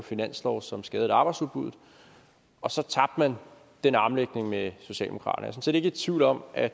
finanslov som skadede arbejdsudbuddet og så tabte man den armlægning med socialdemokraterne set ikke i tvivl om at